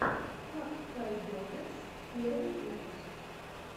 хаккайдогеймс первый выпуск